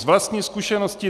Z vlastní zkušenosti.